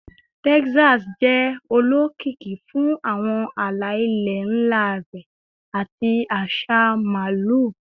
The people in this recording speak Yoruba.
Texas jẹ olokiki fun awọn ala-ilẹ nla rẹ ati aṣa Maalu